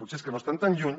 potser és que no estan tan lluny